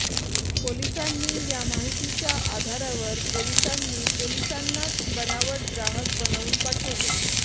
पोलिसांनी या माहितीच्या आधारावर पोलिसांनी पोलिसांनाच बनावट ग्राहक बनवून पाठवले